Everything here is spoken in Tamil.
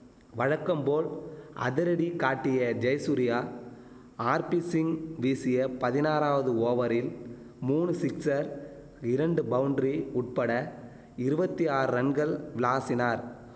வழக்கம் போல் அதிரடி காட்டிய ஜெயசூர்யா ஆர்பிசிங் வீசிய பதினாறாவது ஓவரில் மூனு சிக்சர் இரண்டு பவுண்ரி உட்பட இருவத்தி ஆறு ரன்கள் விளாசினார்